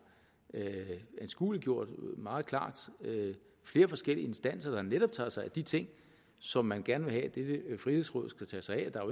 anskueliggjort meget klart er flere forskellige instanser der netop tager sig af de ting som man gerne vil have at frihedsrådet skal tage sig af der